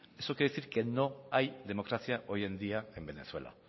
eso quiere decir que no hay democracia hoy en día en venezuela